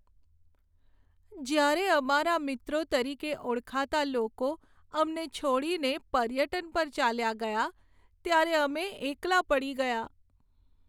જ્યારે અમારા મિત્રો તરીકે ઓળખાતા લોકો અમને છોડીને પર્યટન પર ચાલ્યાં ગયાં, ત્યારે અમે એકલા પડી ગયાં.